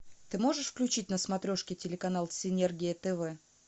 ты можешь включить на смотрешке телеканал синергия тв